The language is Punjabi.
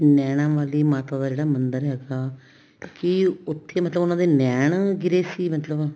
ਨੈਣਾ ਵਾਲੀ ਮਾਤਾ ਦਾ ਜਿਹੜਾ ਮੰਦਿਰ ਹੈਗਾ ਕੀ ਉੱਥੇ ਮਤਲਬ ਉਹਨਾ ਦੇ ਨੈਣ ਗਿਰੇ ਸੀ ਮਤਲਬ